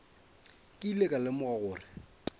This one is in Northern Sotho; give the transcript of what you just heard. ke ile ka lemoga gore